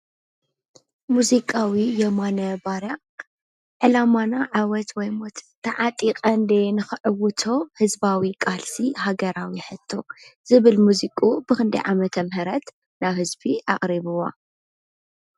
ሙዚቃዊ የማነ ባርያ ዕላማና ዓውት ወይ ሞት ተዓጢቀ እንድየ ንከዕዉቶ ህዝባዊ ቃልሲ ሃገራዊ ሕቶ ዝብል ሙዚቅኡ ብክንደይ ዓመተ ምህረት ናብ ህዝቢ ኣቅሪብዋ?